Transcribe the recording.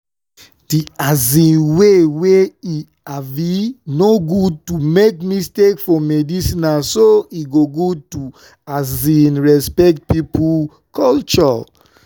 the um way wey e um no good to make mistake for medicinena so e good to um respect pipo culture.